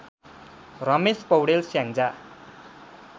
Ramesh Paudel Syangja